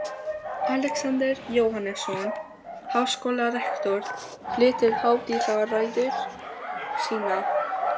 Alexander Jóhannesson, háskólarektor, flytur hátíðarræðu sína.